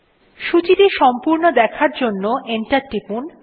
সূচীটা সম্পূর্ণ দেখার জন্য এন্টার টিপুন